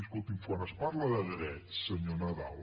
escolti’m quan es parla de drets senyor nadal